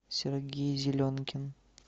сергей зеленкин